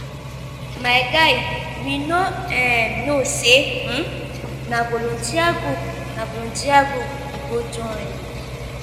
my guy we no um know say um na volunteer group na volunteer group we go join.